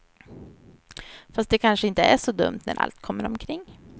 Fast det kanske inte är så dumt när allt kommer omkring.